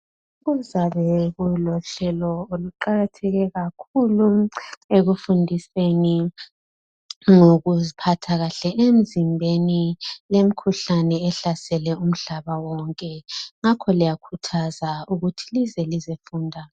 Kuzabe kulohlelo oluqakatheke kakhulu ekufundiseni ngokuziphatha emzimbeni lemikhuhlane ehlasele umhlaba wonke ngakho liyakhuthazwa ukuthi lize lizofunda.